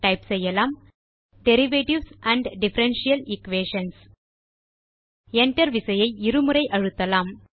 type செய்யலாம் derivatives and differential equations Enter விசையை இரு முறை அழுத்தலாம்